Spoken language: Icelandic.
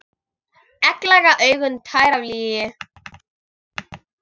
Egglaga augun tær af lygi.